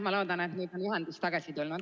Ma loodan, et nüüd on ühendus tagasi tulnud.